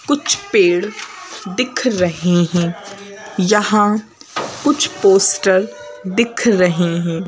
कुछ पेड़ दिख रहे है यहां कुछ पोस्टर दिख रहे हैं।